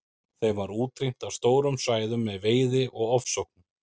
Þeim var útrýmt af stórum svæðum með veiði og ofsóknum.